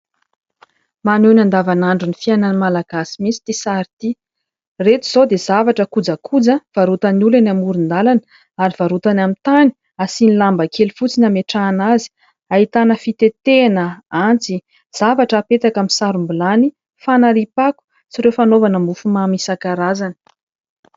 Maneho ny andavanandro ny fiainan'ny Malagasy mihitsy itỳ sary itỳ. Ireto izao dia zavatra kojakoja varotan'ny olona amoron-dalana ary varotany amin'ny tany, asiany lamba kely fotsiny hametrahana azy. Ahitana fitetehana, antsy, zavatra hapetaka amin'ny sarom-bilany, fanariam-pako, sy ireo fanaovana mofomamy isan-karazany.